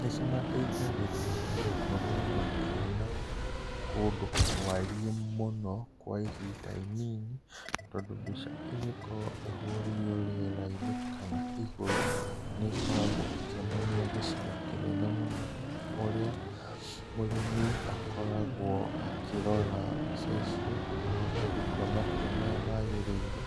Nĩcimateithagĩrĩria gũkorwo makĩona kũndũ kwariĩ mũno kwa ihinda inin tondũ mbica ĩngĩkorwo ĩhũrĩirwo rĩera-inĩ kana igũrũ nĩkoragwo ĩkĩonania gĩcigo kĩnene mũno ũrĩa mũrĩmi akoragwo akĩrora mbica icio ahota gũtua matua marĩa magĩrĩire